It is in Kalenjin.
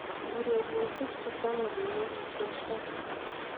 urerioshiek chechame bik ko kokichesan